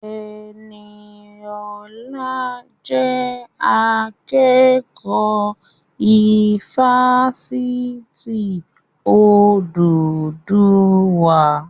Ẹniọlá jẹ́ akẹ́kọ̀ọ́ ifásitì Odùduwà